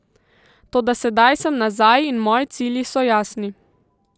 Toda sedaj sem nazaj in moji cilji so jasni.